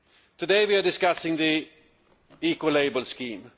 Today we are discussing the Ecolabel scheme.